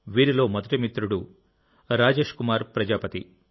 వీరిలో మొదటి మిత్రుడు రాజేష్ కుమార్ ప్రజాపతి